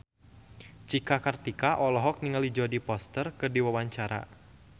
Cika Kartika olohok ningali Jodie Foster keur diwawancara